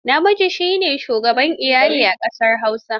Namiji shi ne shugaban iyali a ƙasar Hausa.